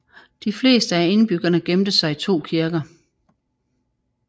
De fleste af indbyggerne gemte sig i 2 kirker